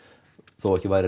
þó væri